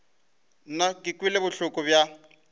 nna ke kwele bohloko bja